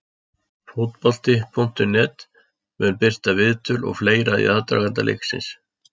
Fótbolti.net mun birta viðtöl og fleira í aðdraganda leiksins.